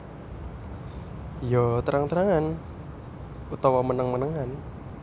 Ya terang terangan utawa meneng menengan